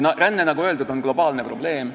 Ränne, nagu öeldud, on globaalne probleem.